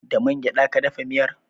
Da man gyada ka dafa miyar?